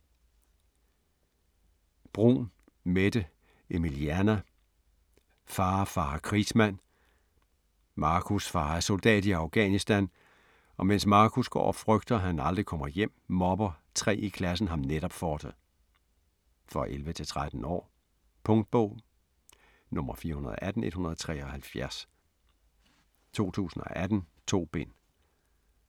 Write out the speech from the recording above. Bruun, Mette Emilieanna: Far, fare krigsmand Marcus far er soldat i Afghanistan og mens Marcus går og frygter, han aldrig kommer hjem, mobber tre i klassen ham netop med det. For 11-13 år. Punktbog 418173 2018. 2 bind.